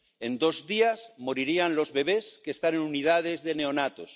en dos días morirían los bebés que están en unidades de neonatos